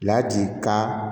Laji kan